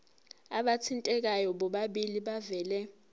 abathintekayo bobabili bavele